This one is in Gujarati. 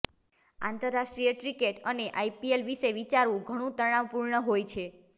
આંતરરાષ્ટ્રીય ક્રિકેટ અને આઈપીએલ વિશે વિચારવું ઘણું તણાવપૂર્ણ હોય છે